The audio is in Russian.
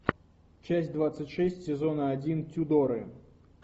часть двадцать шесть сезона один тюдоры